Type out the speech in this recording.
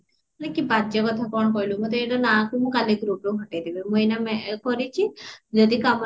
କି ବାଜ୍ୟ କଥା କଣ କହିଲୁ ମତେ ଏଗୁଡା ନା କହୁ ମୁ କଲି groupରୁ ହଟେଇ ଦେବି ମୁ ଏଇନା ମେ କରିଚି ଯଦି କାମ ନକରିବା